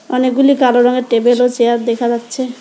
অনেকগুলি কালো রঙের টেবিল ও চেয়ার দেখা যাচ্ছে।